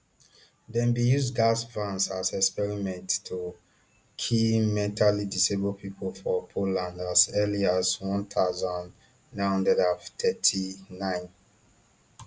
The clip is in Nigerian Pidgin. dem bin use gas vans as experiment to kill mentally disabled pipo for poland as early as one thousand, nine hundred and thirty-nine